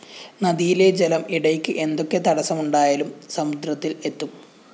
നദിയിലെ ജലം ഇടയ്ക്ക് എന്തൊക്കെ തടസ്സമുണ്ടായാലും സമുദ്രത്തില്‍ എത്തും